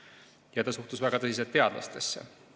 Ja ta suhtus väga tõsiselt teadlastesse.